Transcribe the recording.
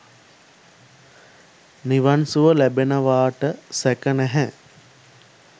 නිවන් සුව ලැබෙනවාට සැක නැහැ.